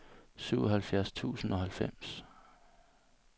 syvoghalvfjerds tusind og halvfems